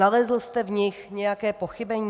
Nalezl jste v nich nějaké pochybení?